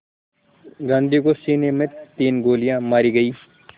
गांधी को सीने में तीन गोलियां मारी गईं